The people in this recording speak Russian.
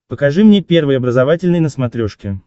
покажи мне первый образовательный на смотрешке